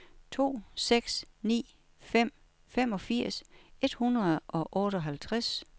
to seks ni fem femogfirs et hundrede og otteoghalvtreds